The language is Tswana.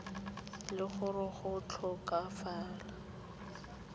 le gore go a tlhokagala